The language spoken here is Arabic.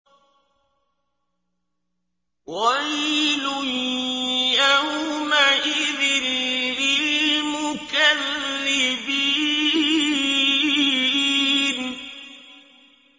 وَيْلٌ يَوْمَئِذٍ لِّلْمُكَذِّبِينَ